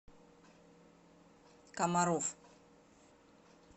комаров